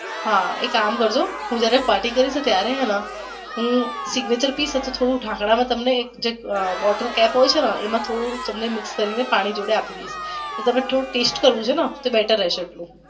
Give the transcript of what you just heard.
હા એક કામ કરજો હું જયારે party કરીશ ને ત્યારે હું signature પીયસ ને ત્યારે તમને ઢાંકણા માં bottle cap હોઈ છે ને એમાં થોડુંક તમને mix પાણી જોડે આપી દયસ તમને થોડુંક ટેસ્ટ કરવું છે ને તો better રહેશે.